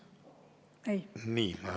Ei?